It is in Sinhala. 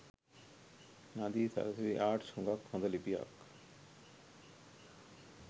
නදී සරසවි ආර්ට් හුගක් හොද ලිපියක්.